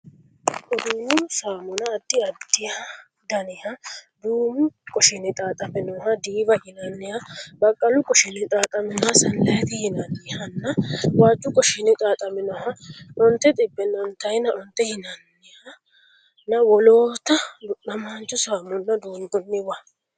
Uduunnu saamuna addi addi daniha duumu qoshinninni xaaxaminoha diiwa yinanniha, baqqalu qoshinninni xaaxaminoha saanilaayti yinannihanna waajju qoshinninni xaaxaminoha onte xibbe ontaayna onte yinannihanna wolootta du'namaancho saamuna duunnooniwa.